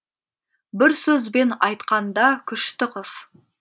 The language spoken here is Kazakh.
бір сөзбен айтқанда күшті қыз